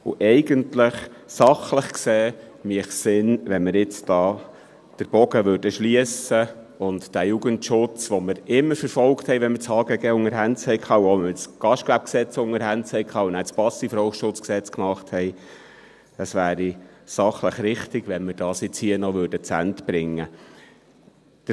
Eigentlich, sachlich gesehen, wäre es sinnvoll und richtig, wenn wir den Bogen hier schliessen und den Jugendschutz, den wir immer verfolgt haben, wenn wir das HGG unter den Händen hatten – auch, wenn wir das GGG unter den Händen hatten und danach das Gesetz zum Schutz vor Passivrauchen (SchPG) machten – und dies hier noch zu einem Ende bringen würden.